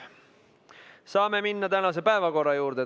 Saame minna tänase päevakorra juurde.